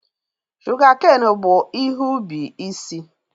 Shụgakein bụ ihe ubi isi.